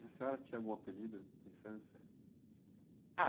E a senhora tinha algum apelido na infância?h.